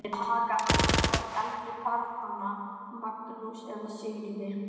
Skal ég taka annað hvort eldri barnanna, Magnús eða Sigríði.